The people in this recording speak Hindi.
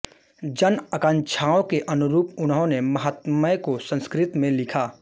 जन आकांक्षाओं के अनुरूप उन्होंने महात्म्य को संस्कृत में लिखा